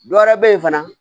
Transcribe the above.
Dɔ wɛrɛ bɛ ye fana